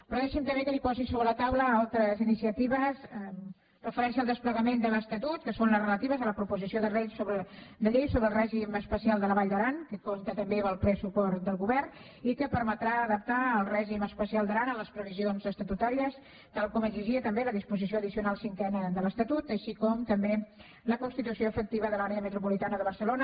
però deixi’m també que li posi sobre la taula altres iniciatives amb referència al desplegament de l’estatut que són les relatives a la proposició de llei sobre el règim especial de la vall d’aran que compta també amb el ple suport del govern i que permetrà adaptar el règim especial d’aran a les previsions estatutàries tal com exigia també la disposició addicional cinquena de l’estatut així com també la constitució efectiva de l’àrea metropolitana de barcelona